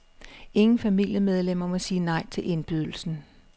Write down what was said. Ingen familiemedlemmer må sige nej til indbydelsen.